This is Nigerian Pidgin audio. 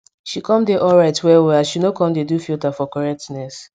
she come dey alright well well as she no come dey do filter for correctness